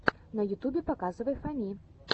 на ютубе показывай фами